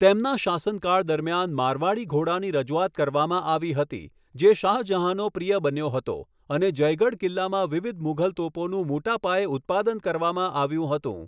તેમના શાસનકાળ દરમિયાન, મારવાડી ઘોડાની રજૂઆત કરવામાં આવી હતી, જે શાહજહાંનો પ્રિય બન્યો હતો, અને જયગઢ કિલ્લામાં વિવિધ મુઘલ તોપોનું મોટા પાયે ઉત્પાદન કરવામાં આવ્યું હતું.